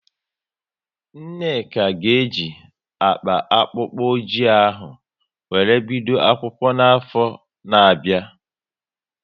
Nneka ga e ji akpa akpụkpọ oji ahụ wéré bido akwụkwọ n'afọ na bia